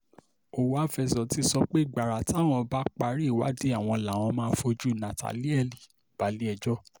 ọ̀wávezor ti sọ pé gbàrà táwọn bá ti parí ìwádìí àwọn làwọn máa fojú nathanielle balẹ̀-ẹjọ́